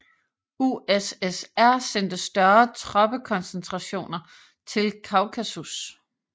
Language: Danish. USSR sendte større troppekoncentrationer til Kaukasus